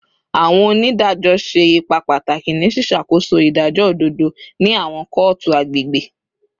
Awọn onidajọ ṣe ipa pataki ni ṣiṣakoso idajọ ododo ni awọn kootu agbegbe